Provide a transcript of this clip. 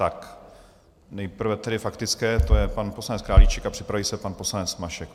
Tak nejprve tedy faktické, to je pan poslanec Králíček, a připraví se pan poslanec Mašek.